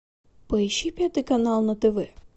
поищи пятый канал на тв